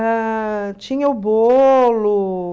Ah, tinha o bolo.